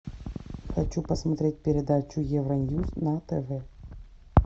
хочу посмотреть передачу евроньюс на тв